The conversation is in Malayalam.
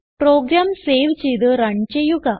പ്രോഗ്രാം സേവ് ചെയ്ത് റൺ ചെയ്യുക